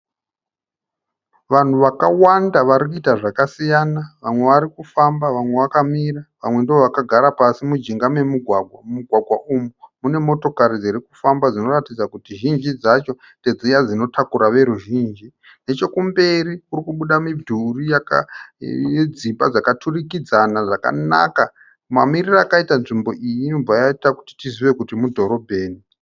Vanhu vakawanda vari kuiita zvakasiyana vamwe vari kufamba, vamwe vakamira, vamwe ndivo vakagara pasi mujinga memugwagwa. Mugwagwagwa uyu une motokari dziri kufamba dzinoratidza kuti zhinji dzacho dzinotakura veruzhinji. Nechekumberi kuri kubuda midhuri yakaturikidzana, kune dzimba dzakanaka. Mamiriro akaiita nzvimbo iyi inobva yaiita kuti tizive kuti mudhorobheni.